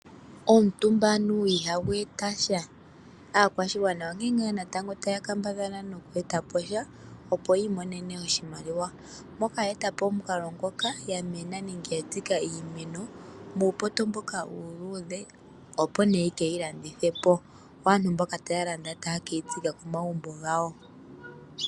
Omutumba anuwa ihagu eta sha aakwashigwana onkene ngaa natango taya kambadhala okweetaposha opo yiimonene oshimaliwa moka ye eta po omukalo ngoka ya mena nenge ya tsika iimeno muupoto mboka uuludhe opo nee yeke yi landithepo yo aantu mboka taya landa taye keyi tsika komagumbo gawo.